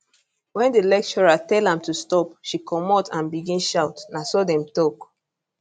wen di lecturer tell am to stop she comot and begin shout na so dem tok